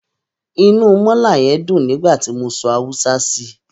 Inú mọ́là yẹn dùn nígbà tí mo sọ Haúsá sí i.